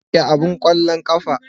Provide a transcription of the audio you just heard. Rike abin ƙwallon ƙafa.